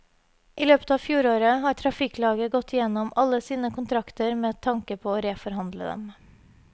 I løpet av fjoråret har trafikklaget gått igjennom alle sine kontrakter med tanke på å reforhandle dem.